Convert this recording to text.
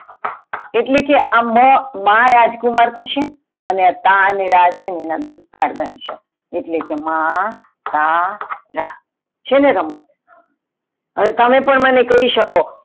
એટલે કે આ મ માં રાજકુમાર થસે, અને તાનેર દોસ્તારો બનશે એટલે કે માતાનારા છેને રમત હવે તમે મને પણ કઈ શકો.